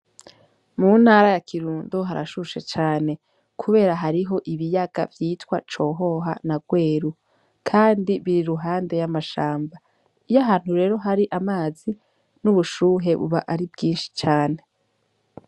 Mu ntara ya kirundo harashushe cane, kubera hariho ibiyaga vyitwa cohoha na rweru, kandi biri ruhande y'amashamba iyo ahantu rero hari amazi n'ubushuhe buba ari bwinshi cane.